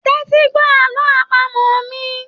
Tẹti gbọ àlọ àpamọ̀ mí!